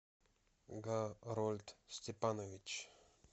гарольд степанович